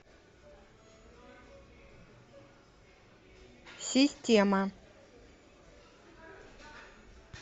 система